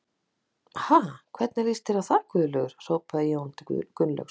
Ha, hvernig líst þér á það Gunnlaugur? hrópaði Jón til Gunnlaugs.